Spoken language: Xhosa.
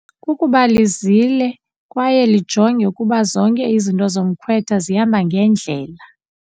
Kukuba lizile kwaye lijonge ukuba zonke izinto zomkhwetha zihamba ngendlela.